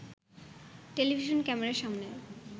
television ক্যামেরার সামনে